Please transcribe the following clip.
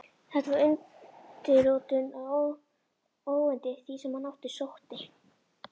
Þetta var undirrótin að óyndi því, sem á hann sótti.